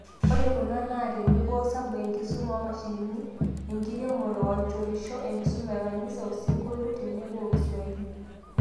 Ore kuna naa tenebo, osabu, enkisuma oomashinini, enkiromore, aichorisho, enkisuma ekanisa, osinkolio, tenebo ookiswahili.